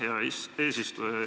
Aitäh, hea eesistuja!